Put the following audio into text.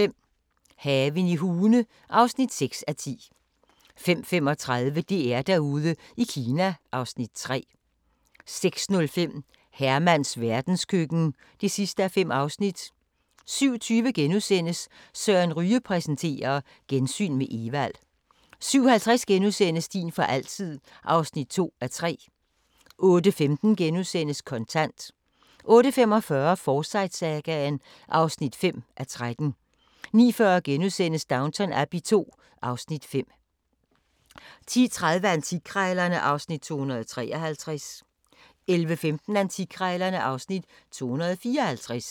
05:05: Haven i Hune (6:10) 05:35: DR-Derude i Kina (Afs. 3) 06:05: Hermans verdenskøkken (5:5) 07:20: Søren Ryge præsenterer: Gensyn med Evald * 07:50: Din for altid (2:3)* 08:15: Kontant * 08:45: Forsyte-sagaen (5:13) 09:40: Downton Abbey II (Afs. 5)* 10:30: Antikkrejlerne (Afs. 253) 11:15: Antikkrejlerne (Afs. 254)